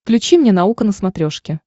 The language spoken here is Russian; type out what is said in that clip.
включи мне наука на смотрешке